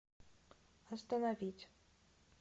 остановить